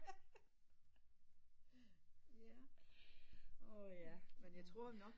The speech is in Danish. Men jeg tror nok